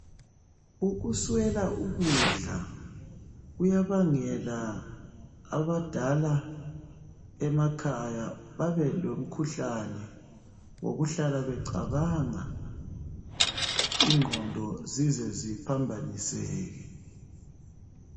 Ukuswela ukudla kuyabangela abadala emakhaya babelomkhuhlane wokuhlala becabangabingqondo zize ziphambaniseke.